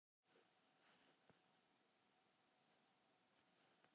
Hversu vel mér fannst ég þekkja þetta barn.